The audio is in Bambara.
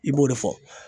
I b'o de fɔ